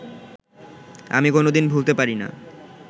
আমি কোনদিন ভুলতে পারি না